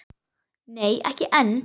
Nei, ekki enn.